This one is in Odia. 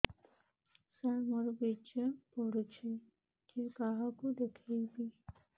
ସାର ମୋର ବୀର୍ଯ୍ୟ ପଢ଼ୁଛି କାହାକୁ ଦେଖେଇବି